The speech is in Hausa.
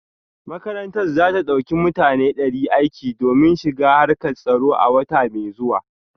Makarantar za ta dauki mutane dari aiki domin shiga harkar tsaro a wata mai zuwa